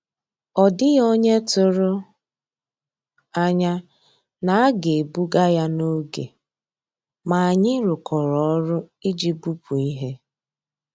Ọ́ dị́ghị́ ónyé tụ̀rụ̀ ànyá ná á gà-èbùgà yá n'ògé, mà ànyị́ rụ́kọ̀rọ́ ọ́rụ́ ìjì bùpú íhé.